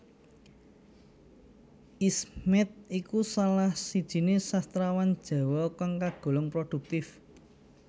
Esmiet iku salah sijiné sastrawan Jawa kang kagolong produktif